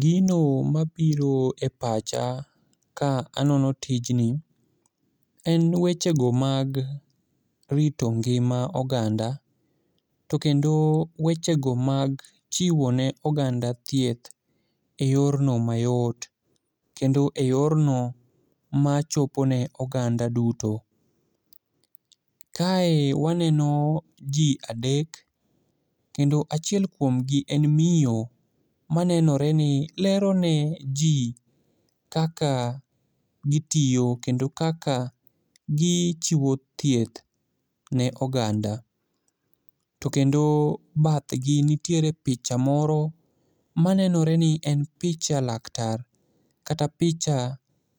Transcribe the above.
Gino mabiro e pacha ka anono tijni ,en wechego mag rito ngima oganda to kendo wechego mag chiwo ne oganda thieth e yorno mayot kendo eyorno machopo ne oganda duto. Kae waneno ji adek, kendo achiel kuomgi en miyo ma nenore ni lero ne ji kaka gitiyo kendo kaka gichiwo thieth ne oganda, to kendo bathgi nitiere picha moro manenore ni en picha laktar, kata picha